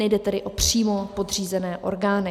Nejde tedy o přímo podřízené orgány.